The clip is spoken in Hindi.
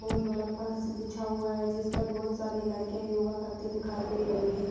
बोहोत बड़ा फर्स बिछा हुआ है जिसपर बहोत सारी लड़कियाँ योगा करती दिखाई दे रही है।